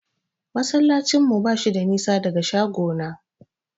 Masallacin mu bashi da nisa daga shagona.